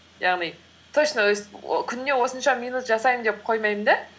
яғни точно өстіп күніне осынша минут жасаймын деп қоймаймын да